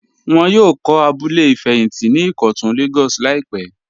Wọ́n yóò kọ̀ abúlẹ̀ fẹyíntí ní Ikọ́tun Lagos laípè.